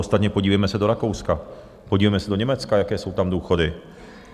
Ostatně podívejme se do Rakouska, podívejme se do Německa, jaké jsou tam důchody.